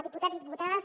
diputats i diputades